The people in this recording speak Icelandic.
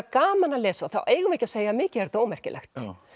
gaman að lesa þá eigum við ekki að segja mikið er þetta ómerkilegt